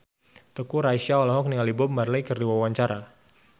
Teuku Rassya olohok ningali Bob Marley keur diwawancara